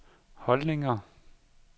holdninger